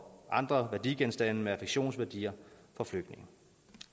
andre værdigenstande med affektionsværdi